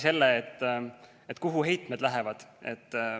Selle kaudu, kuhu heitmed lähevad.